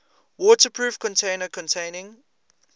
waterproof container containing